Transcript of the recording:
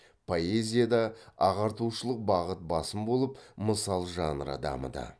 поэзияда ағартушылық бағыт басым болып мысал жанры дамыды